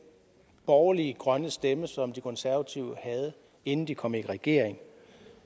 borgerlige grønne stemme som de konservative havde inden de kom i regering